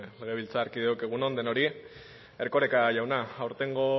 legebiltzarkideok egun on denori erkoreka jauna aurtengo